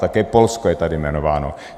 Také Polsko je tady jmenováno.